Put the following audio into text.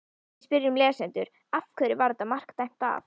Við spyrjum lesendur: Af hverju var þetta mark dæmt af?